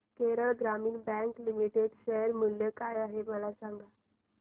Kerala Gramin bank limited share मूल्य काय आहे मला सांगा